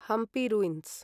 Hampi ruins